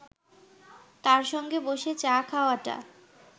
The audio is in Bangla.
তার সঙ্গে বসে চা খাওয়াটা